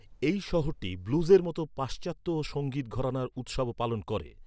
এই শহরটি ব্লুজের মতো পাশ্চাত্য সঙ্গীত ঘরানার উৎসবও পালন করে।